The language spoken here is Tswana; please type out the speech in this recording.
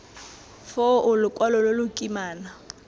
foo lokwalo lo lo kimana